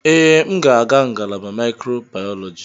Ee, m ga-aga ngalaba microbiology.